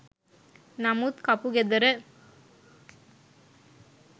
නමුත් කපුගෙදර